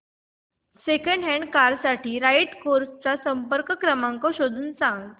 second hand car साठी Right Cars चा संपर्क क्रमांक शोधून सांग